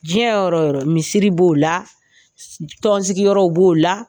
Diɲɛ yɔrɔ yɔrɔ misiri b'o la tɔnsigi yɔrɔ b'o la.